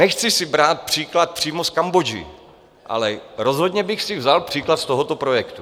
Nechci si brát příklad přímo z Kambodži, ale rozhodně bych si vzal příklad z tohoto projektu.